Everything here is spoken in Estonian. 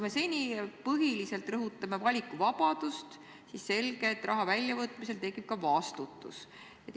Me seni põhiliselt rõhutame valikuvabadust, aga on selge, et raha väljavõtmisel tekib ka vastutus.